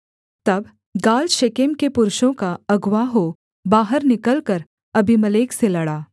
तब Gaal Shechem के पुरुषों का अगुआ हो बाहर निकलकर अबीमेलेक से लड़ा